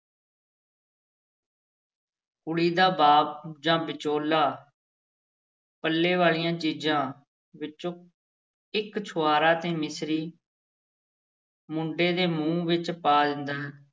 ਕੁੜੀ ਦਾ ਬਾਪ ਜਾਂ ਵਿਚੋਲਾ ਪੱਲੇ ਵਾਲੀਆਂ ਚੀਜ਼ਾਂ ਵਿੱਚੋਂ ਇੱਕ ਛੁਹਾਰਾ ਤੇ ਮਿਸਰੀ ਮੁੰਡੇ ਦੇ ਮੂੰਹ ਵਿੱਚ ਪਾ ਦਿੰਦਾ।